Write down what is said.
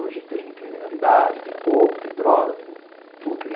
Hoje tem criminalidade, tem roubo, tem droga, tem tudo.